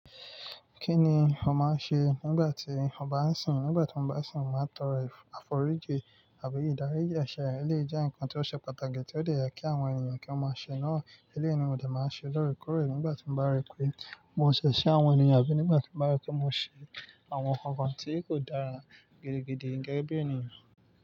Kí ni o máa ń ṣe nígbà tí o bá ń sìn? Nígbà tí mo bá ń sìn, màá tọrọ àforíjì àbí ìdáríjì. Àṣà ẹlẹ́yii jẹ́ nǹkan tí ó ṣe pàtàkì tí ó dè ye kí àwọn ènìyàn kí wọ́n máa ṣe náà. Elẹ́ni, mo dà máa ń ṣe lóre kore nígbà tí mo bá rí pé mo ṣẹ̀ṣẹ̀ sí àwọn ènìyàn àbí nígbà tí mo bá rí pé mo ṣe àwọn nǹkan tí kò dára gidigidi gẹ́gẹ́ bí ènìyàn.